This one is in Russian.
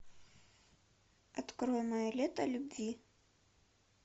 открой мое лето любви